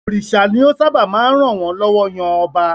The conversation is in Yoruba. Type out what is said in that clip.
Òrìṣà ni ó sábà máa ń ràn wọ́n lọ́wọ́ yan ọba.